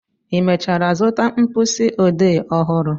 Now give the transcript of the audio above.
ị mechara zụta mkpịsị ode ọhụrụ?